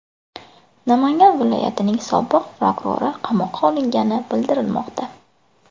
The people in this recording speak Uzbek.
Namangan viloyatining sobiq prokurori qamoqqa olingani bildirilmoqda.